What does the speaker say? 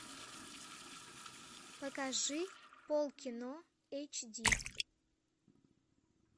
покажи пол кино эйч ди